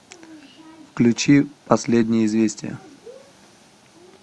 включи последние известия